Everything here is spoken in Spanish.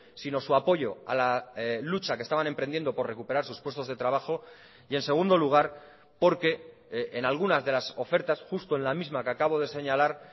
sino su apoyo a la lucha que estaban emprendiendo por recuperar sus puestos de trabajo y en segundo lugar porque en algunas de las ofertas justo en la misma que acabo de señalar